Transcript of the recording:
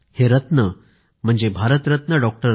हे रत्न म्हणजे भारतरत्न डॉ